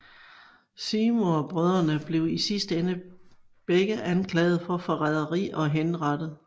Seymour brødrene blev i sidste ende begge anklaget for forræderi og henrettet